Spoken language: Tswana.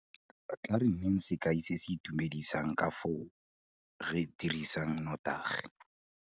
Tla re nneng sekai se se itumedisang ka fao re dirisang notagi.